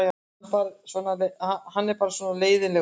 Hann er bara svona leiðinlegur.